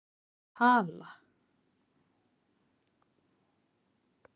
Hvað er tala?